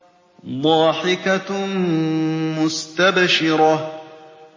ضَاحِكَةٌ مُّسْتَبْشِرَةٌ